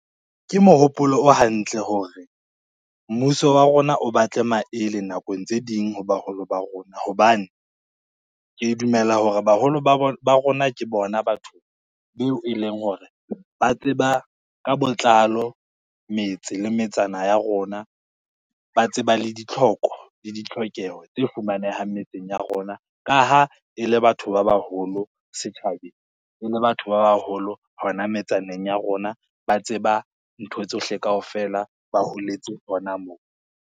Ke mohopolo o hantle hore, mmuso wa rona o batle maele nakong tse ding ho baholo ba rona, hobane ke dumela hore baholo ba rona ke bona batho beo e leng hore ba tseba ka botlalo metse le metsana ya rona. Ba tseba le ditlhoko le ditlhokeho tse fumanehang metseng ya rona, ka ha e le batho ba baholo setjhabeng, e le batho ba baholo hona metsaneng ya rona, ba tseba ntho tsohle kaofela ba holetse hona mo.